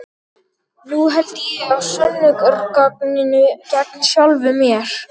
Nú held ég á sönnunargagninu gegn sjálfum mér.